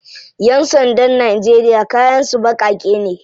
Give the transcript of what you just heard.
Yan sandan Najeriya kayan su bakake ne.